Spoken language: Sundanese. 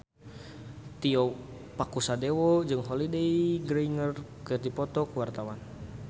Tio Pakusadewo jeung Holliday Grainger keur dipoto ku wartawan